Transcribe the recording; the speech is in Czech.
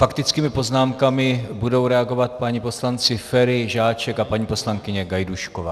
Faktickými poznámkami budou reagovat páni poslanci Feri, Žáček a paní poslankyně Gajdůšková.